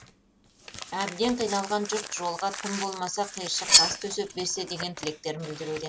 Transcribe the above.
әбден қиналған жұрт жолға тым болмаса қиыршық тас төсеп берсе деген тілектерін білдіруде